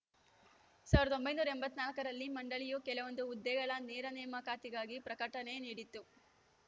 ಸಾವಿರದ ಒಂಬೈನೂರ ಎಂಬತ್ತ್ ನಾಲ್ಕ ರಲ್ಲಿ ಮಂಡಳಿಯು ಕೆಲವೊಂದು ಹುದ್ದೆಗಳ ನೇರ ನೇಮಕಾತಿಗಾಗಿ ಪ್ರಕಟಣೆ ನೀಡಿತ್ತು